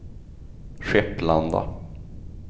Skepplanda